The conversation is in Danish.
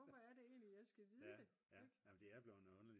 hvorfor er det egentlig jeg skal vide det ik